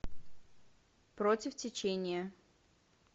против течения